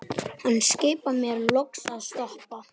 Hann skipar mér loks að stoppa.